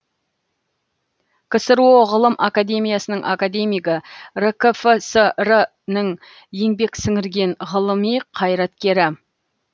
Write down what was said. ксро ғылым академиясының академигі ркфср нің еңбек сіңірген ғылыми қайраткері